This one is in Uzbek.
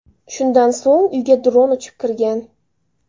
Shundan so‘ng uyga dron uchib kirgan.